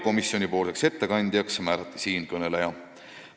Komisjoni ettekandjaks määrati siinkõneleja.